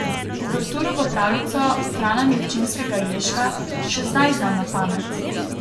Uverturo v pravljico Frana Milčinskega Ježka še zdaj znam na pamet.